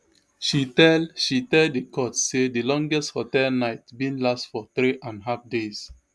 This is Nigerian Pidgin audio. she tell she tell di court say di longest hotel night bin last for three and half days